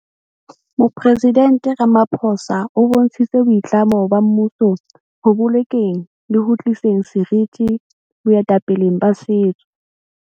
Moporesident Ramapho sa o bontshitse boitlamo ba mmuso ho bolokeng le ho tliseng seriti boetapeleng ba setso.